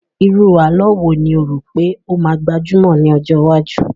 Irú àlọ́ wo ni o rò pé ó máa gbajumọ̀ ní ọjọ́ iwájú?